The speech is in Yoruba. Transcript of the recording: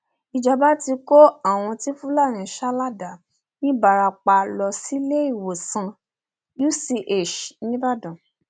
ìjọba ti kó àwọn tí fúlàní sá ládàá nìbarapá lọ síléèwòsàn uch nìbàdàn